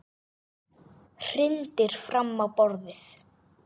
Hrindir fram á borðið.